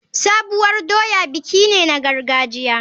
Sabuwar doya biki ne na gargajiya.